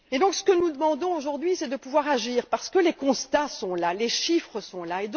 Ce que nous demandons aujourd'hui, c'est de pouvoir agir, car les constats et les chiffres sont là.